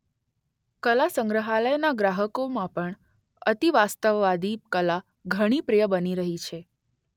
કલાસંગ્રહાલયના ગ્રાહકોમાં પણ અતિવાસ્તવવાદી કલા ઘણી પ્રિય બની રહી છે.